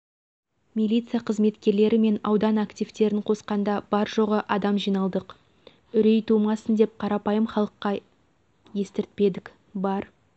милиция қызметкерлері мен аудан активтерін қосқанда бар-жоғы адам жиналдық үрей тумасын деп қарапайым халыққа естіртпедік бар